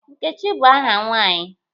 Nkechi bụ aha nwaanyị.